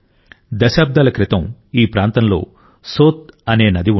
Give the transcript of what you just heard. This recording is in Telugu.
దశాబ్దాల క్రితం ఈ ప్రాంతంలో సోత్ అనే నది ఉండేది